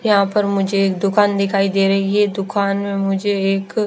यहाँ पर मुझे एक दुकान दिखाई दे रही है दुकान में मुझे एक--